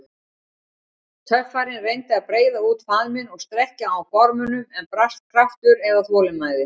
Töffarinn reyndi að breiða út faðminn og strekkja á gormunum, en brast kraftur eða þolinmæði.